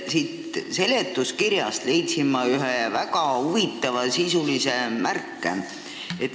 Siit seletuskirjast leidsin ma ühe väga huvitava märke.